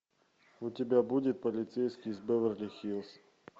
у тебя будет полицейский из беверли хиллз